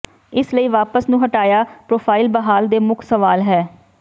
ਇਸ ਲਈ ਵਾਪਸ ਨੂੰ ਹਟਾਇਆ ਪ੍ਰੋਫ਼ਾਈਲ ਬਹਾਲ ਦੇ ਮੁੱਖ ਸਵਾਲ ਹੈ